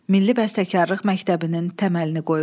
Milli bəstəkarlıq məktəbinin təməlini qoyub.